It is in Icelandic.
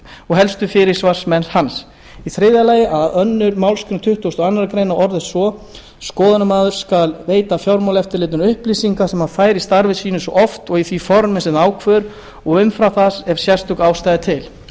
og helstu fyrirsvarsmenn hans þriðja annarri málsgrein tuttugustu og aðra grein orðist svo skoðunarmaður skal veita fjármálaeftirlitinu upplýsingar sem hann fær í starfi sínu svo oft og í því formi sem það ákveður og umfram það ef sérstök ástæða er til